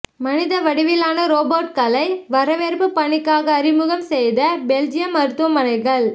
மனித வடிவிலான ரோபோட்களை வரவேற்பு பணிக்காக அறிமுகம் செய்த பெல்ஜியம் மருத்துவமனைகள்